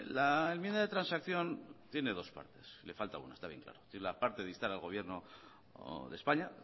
la enmienda de transacción tiene dos partes le falta una está bien claro la parte de instar al gobierno de españa